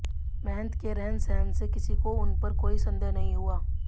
महंत के रहन सहन से किसी को उनपर कोई संदेह नहीं हुआ